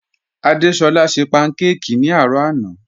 Adésọla ṣẹ pankáki ni arọ̀ àná